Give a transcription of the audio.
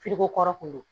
kɔrɔ kun don